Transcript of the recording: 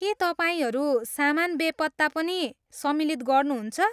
के तपाईँहरू सामान बेपत्ता पनि सम्मिलित गर्नुहुन्छ?